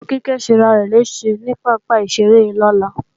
Ọmọ Kíkẹ́ ó ṣẹrarẹ̀ léèṣẹ ní pápá ìṣeré lọ́la